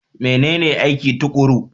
Menene aiki tuƙuru?